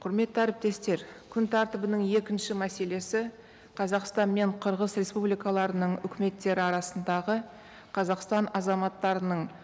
құрметті әріптестер күн тәртібінің екінші мәселесі қазақстан мен қырғыз республикаларының үкіметтері арасындағы қазақстан азаматтарының